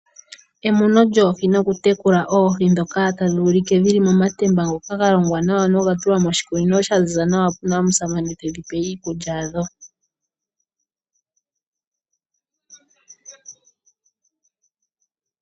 Emuno lyoohi nokutekula oohi ndhoka tadhi ulike dhi li momatemba ngoka ga longwa nawa noga tulwa moshikunino, shoka sha ziza nawa, pu na omusamane tedhi pe iikulya yadho.